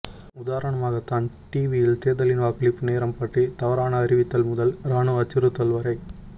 உதாரணமாக டான் ரீவியில் தேர்தலின் வாக்களிப்பு நேரம் பற்றி தவறான அறிவித்தல் முதல் இராணுவ அச்சுறுத்தல்வரை